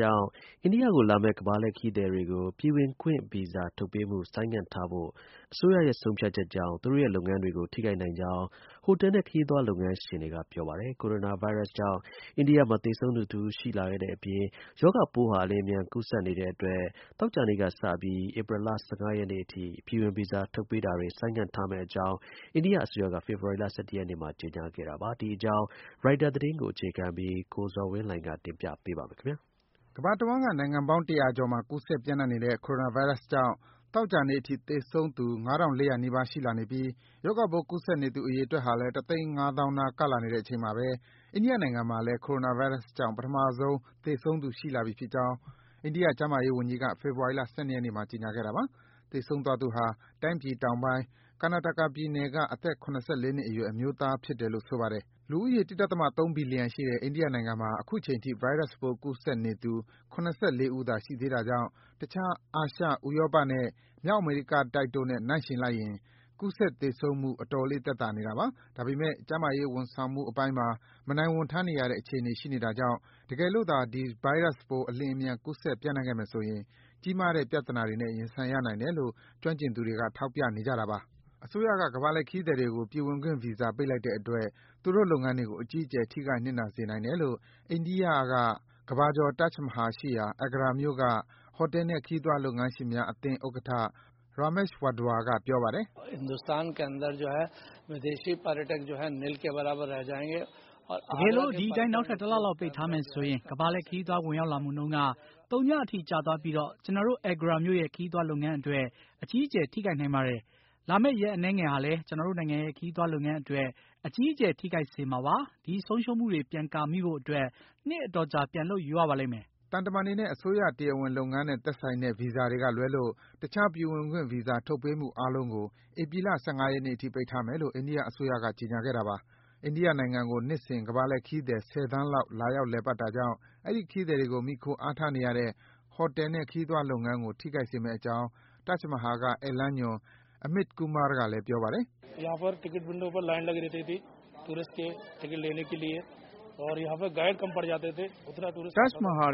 ကြောင့် အိန္ဒိယကိုလာမယ့် ကမ္ဘာလှည့်ခရီးသွားတွေကို ပြည်ဝင်ခွင့်ဗီဇာ ထုတ်ပေးမှု ဆိုင်းငံ့ထားဖို့ အစိုးရရဲ့ ဆုံးဖြတ်ချက်ကြောင့် သူတို့ရဲ့ လုပ်ငန်းတွေကို ထိခိုက်နိုင်ကြောင်း ဟိုတယ်နဲ့ ခရီးသွားလုပ်ငန်းရှင်တွေက ပြောပါတယ်။ Coronavirus ကြောင့် အိန္ဒိယမှာ သေဆုံးသူတဦး ရှိခဲ့တဲ့အပြင် ရောဂါပိုးဟာ အလျင်အမြန် ကူးစက်နေတဲ့အတွက် သောကြာနေ့ကစပြီး ဧပြီလ ၁၅ ရက်နေ့အထိ ပြည်ဝင်ဗီဇာ ထုတ်ပေးတာတွေ ဆိုင်းငံ့ထားမယ့်အကြောင်း အိန္ဒိယအစိုးရက ဖေဖော်ဝါရီလ ၁၁ ရက်နေ့မှာ ကြေညာခဲ့တာပါ။ ဒီအကြောင်း ရိုက်တာသတင်းကို အခြေခံပြီး ကိုဇော်ဝင်းလှိုင်က တင်ပြပေးပါမယ်။ ကမ္ဘာတဝှမ်း နိုင်ငံပေါင်း ၁၀၀ ကျော်မှာ ကူးစက်ပြန့်နှံ့နေတဲ့ Coronavirus ကြောင့် သောကြာနေ့အထိ သေဆုံးသူ ငါးထောင့် လေးရာနီးပါးရှိလာနေပြီး ရောဂါပိုး ကူးစက်သူအရေအတွက်ဟာလည်း တသိန်း ငါးသောင်းနား ကပ်လာနေတဲ့အချိန်မှာဘဲ အိန္ဒိယနိုင်ငံမှာလည်း Coronavirus ကြောင့် ပထမဆုံး သေဆုံးသူရှိလာပြီဖြစ်ကြောင်း အိန္ဒိယကျန်းမာရေးဝန်ကြီးက ဖေဖော်ဝါရီ ၁၂ ရက်နေ့မှာ ကြေညာခဲ့တာပါ။ သေဆုံးသွားသူဟာ တိုင်းပြည်တောင်ပိုင်း Karnataka ပြည်နယ်က အသက် ၇၄ နှစ်အရွယ် အမျိုးသားဖြစ်တယ်လို့ ဆိုပါတယ်။ လူဦးရေ ၁.၃ ဘီလီယံရှိတဲ့ အိန္ဒိယနိုင်ငံမှာ အခုချိန် ဗိုင်းရပ်စ်ပိုး ကူးစက်နေသူ ၇၄ ဦးသာ ရှိသေးတာကြောင့် တခြား အာရှ၊ ဥရောပနဲ့ မြောက်အမေရိကတိုက်တို့နဲ့ နှိုင်းယှဉ်လိုက်ရင် ကူးစက် သေဆုံးမှု အတော်လေး သက်သာနေတာပါ။ ဒါပေမယ့် ကျန်းမာရေးဝန်ဆောင်မှု အပိုင်းမှာ မနိုင်ဝန်ထမ်းနေရတဲ့ အခြေအနေရှိနေတာကြောင့် တကယ်လို့သာ ဒီ ဗိုင်းရပ်စ်ပိုး အလျင်အမြန် ကူးစက် ပြန့်နှံ့ခဲ့မယ်ဆိုရင် ကြီးမားတဲ့ ပြဿနာတွေနဲ့ ရင်ဆိုင်ရနိုင်တယ်လို့ ကျွမ်းကျင်သူတွေက ထောက်ပြနေကြတာပါ။ အစိုးရက ကမ္ဘာ့လှည့်ခရီးသွားတွေကို ပြည်ဝင်ဗီဇာ ပိတ်လိုက်တဲ့အတွက် သူတို့လုပ်ငန်းတွေကို အကြီးအကျယ် ထိခိုက် နစ်နာစေနိုင်တယ်လို့ အိန္ဒိယက ကမ္ဘာကျော် Taj Mahal ရှိရာ Agra မြို့က ဟိုတယ်နဲ့ ခရီးသွားလုပ်ငန်းရှင်များအသင်းဥက္ကဌ Ramesh Wadhwa က ပြောပါတယ်။ “တကယ်လို့ ဒီအတိုင်း နောက်ထပ် တလလောက် ပိတ်ထားမယ်ဆိုရင် ကမ္ဘာလှည့်ခရီးသွား ဝင်ရောက်လာမှုနှုန်းက သုညအထိ ကျသွားပြီး ကျနော်တို့ Agra မြို့ရဲ့ ခရီးသွားလုပ်ငန်းအတွက် အကြီးအကျယ် ထိခိုက်နိုင်ပါတယ်။ လာမယ့် ရက်အနည်းဟာလည်း ကျနော်တို့နိုင်ငံရဲ့ ခရီးသွားလုပ်ငန်းအတွက် အကြီးအကျယ် ထိခိုက်စေမှာပါ။ ဒီ ဆုံးရှုံးမှုတွေ ပြန်ကာမိဖို့အတွက် နှစ်အတော်ကြာ ပြန်လုပ်ယူရပါလိမ့်မယ်။” သံတမန်တွေနဲ့ အစိုးရ တရားဝင်လုပ်ငန်းနဲ့သက်ဆိုင်တဲ့ ဗီဇာတွေကလွဲလို့ တခြား ပြည်ဝင်ခွင့်ဗီဇာ ထုတ်ပေးမှု အားလုံးကို ဧပြီလ ၁၅ ရက်နေ့အထိ ပိတ်ထားမယ်လို့ အိန္ဒိယအစိုးရက ကြေညာခဲ့တာပါ။ အိန္ဒိယနိုင်ငံကို နှစ်စဉ် ကမ္ဘာလှည့်ခရီးသည် ၁၀ သန်းလောက် လာရောက်လည်ပတ်နေတာကြောင့် အဲဒီ ခရီးသည်တွေကို မှီခို အားထားနေရတဲ့ ဟိုတယ်နဲ့ ခရီးသွားလုပ်ငန်းကို ထိခိုက်စေမယ့်အကြောင်း Taj Mahal က ဧည့်လမ်းညွန် Amit Kumar ကလည်း ပြောပါတယ်။ “Taj Mahal ထ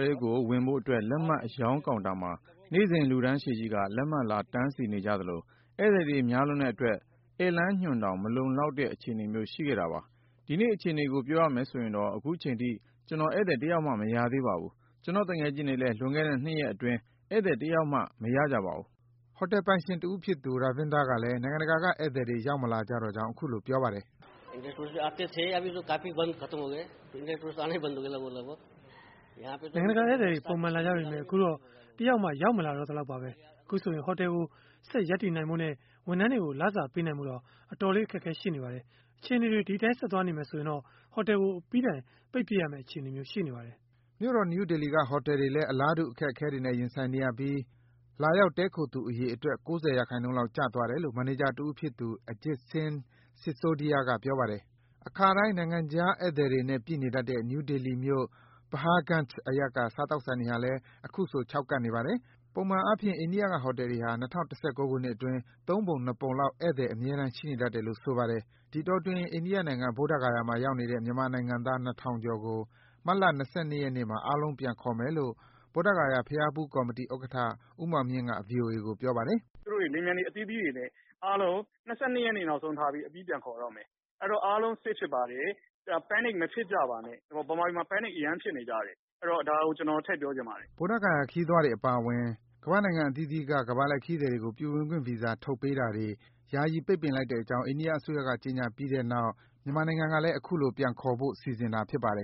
ဲကို ဝင်ဖို့အတွက် လက်မှတ်အရောင်းကောင်တာမှာ နေ့စဉ် လူတန်းရှည်ကြီးက လက်မှတ်လာ တန်းစီနေကြသလို ဧည့်သည်တွေများလွန်းတဲ့အတွက် ဧည့်လမ်းညွန်တောင် မလောက်တဲ့အခြေအနေမျိုး ရှိခဲ့တာပါ။ ဒီနေ့ အခြေအနေကို ပြောရမယ်ဆိုရင်တော့ အခုချိန်ထိ ကျနော် ဧည့်သည်တယောက်မှ မရသေးပါဘူး။ ကျနော့်သူငယ်ချင်းတွေလည်း လွန်ခဲ့တဲ့ ၂ ရက်အတွင်း ဧည့်သည် တယောက်မှ မရကြပါဘူး။” ဟိုတယ်ပိုင်ရှင်တဦးဖြစ်သူ Ravinder ကလည်း နိုင်ငံတကာက ဧည့်သည်တွေ ရောက်မလာကြတော့ကြောင်း အခုလို ပြောပါတယ်။ “နိုင်ငံတကာဧည့်သည်တွေ ပုံမှန်လာကြပေမယ့် အခုတော့ တယောက်မှ ရောက်မလာတော့သလောက်ပါဘဲ။ အခုဆိုရင် ဟိုတယ်ကို ဆက်ရပ်တည်နိုင်ဖို့နဲ့ ဝန်ထမ်းတွေကို လစာပေးနိုင်ဖို့တောင် အတော်လေး အခက်အခဲ ရှိနေပါတယ်။ အခြေအနေတွေ ဒီအတိုင်း ဆက်သွားနေမယ်ဆိုရင် ဒီဟိုတယ်ကို အပြီးအပိုင် ပိတ်ပစ်ရမယ့်အခြေအနေ ရှိပါတယ်။” မြို့တော် နယူးဒေလီက ဟိုတယ်တွေလည်း အလားတူ အခက်အခဲတွေနဲ့ ရင်ဆိုင်နေရပြီး လာရောက် တည်းခိုသူအရေအတွက် ၉၀% လောက် ကျသွားတယ်လို့ မန်နေဂျာတဦးဖြစ်သူ Ajit Singh Sisodiya က ပြောပါတယ်။ အခါတိုင်း နိုင်ငံခြားဧည့်သည်တွေနဲ့ ပြည့်နေတတ်တဲ့ နယူးဒေလီမြို့၊ Paharganj အရပ်က စားသောက်ဆိုင်တွေဟာလည်း အခုဆို ခြောက်ကပ်နေပါတယ်။ ပုံမှန်အားဖြင့် အိန္ဒိယက ဟိုတယ်တွေဟာ ၂၀၁၉ ခုနှစ်အတွင်း ၃ ပုံ ၂ ပုံလောက် ဧည့်သည် အမြဲတမ်း ရှိနေတတ်တယ်လို့ ဆိုပါတယ်။ ဒီအတောအတွင်း အိန္ဒိယနိုင်ငံ၊ ဗုဒ္ဓဂါယာမှာ ရောက်နေတဲ့ မြန်မာနိုင်ငံသား ၂,၀၀၀ ကျော်ကို မတ်လ ၂၂ ရက်နေ့မှာ အားလုံး ပြန်ခေါ်မယ်လို့ ဗုဒ္ဓဂယာ ဘုရားဖူးကော်မတီဥက္ကဋ္ဌ ဦးမောင်မြင့်က ဗွီအိုအေကိုပြောပါတယ်။ “သူတို့ကို လေယာဉ်ပျံတွေ အသီးသီးတွေနဲ့ ဒီလ ၂၂ ရက်နေ့ နောက်ဆုံးထားပြီး အပြီးပြန်ခေါ် တော့မယ်။ အဲ့တော့ အားလုံး safe ဖြစ်ပါတယ်။ Panic မဖြစ်ကြပါနဲ့ ဗမာပြည်မှာ Panic အရမ်းဖြစ်နေကြတယ်။ အဲ့တော့ ကျနော် ဒါကို ထည့်ပြောချင်ပါတယ်။” ဗုဒ္ဓဂါယာဘုရားဖူး ခရီးသွားတွေအပါအဝင် ကမ္ဘာ့နိုင်ငံအသီးသီးက ကမ္ဘာလှည့် ခရီးသည်တွေကို ပြည်ဝင်ခွင့်ဗီဇာ ထုတ်ပေးတာတွေ ပိတ်ပင်လိုက်တဲ့အကြောင်း အိန္ဒိယအစိုးရက ကြေညာအပြီးမှာ မြန်မာနိုင်ငံကလည်း အခုလို ပြန်ခေါ်ဖို့ စီစဉ်တာ ဖြစ်ပါတယ်